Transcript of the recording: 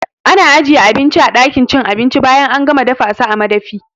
Ana ajiye abinci a ɗakin cin abinci bayan an gama dafasa a madafi